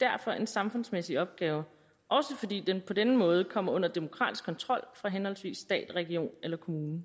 derfor en samfundsmæssig opgave også fordi den på denne måde kommer under demokratisk kontrol fra henholdsvis stat region eller kommune